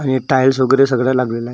आणि टाईल्स वगैरे सगळ लागलेलं आहे.